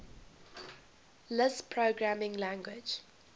lisp programming language